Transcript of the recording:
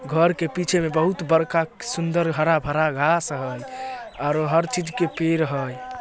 घर के पीछे में बहुत बरका सुंदर हरा-भरा घास हय आरो हर चीज़ के पेड़ हय।